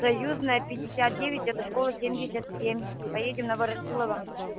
союзная пятьдесят девять это школа семьдесят семь поедем на ворошилова